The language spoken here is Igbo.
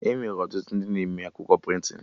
Enwere ọtụtụ ndị na-eme akwụkwọ prịntịn